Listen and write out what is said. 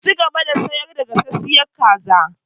Ki cigaba da sayar da gasasshen kaza!